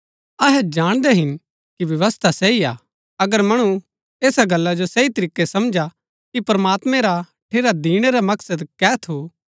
अहै जाणदै हिन कि व्यवस्था सही हा अगर मणु ऐसा गल्ला जो सही तरीकै समझा कि प्रमात्मैं रा ठेरा दिणै रा मकसद कै थू